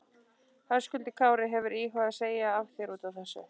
Höskuldur Kári: Hefurðu íhugað að segja af þér útaf þessu?